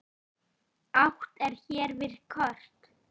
Átt er hér við kort.